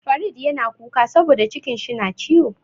Farid yana kuka saboda cikin shi na ciwo.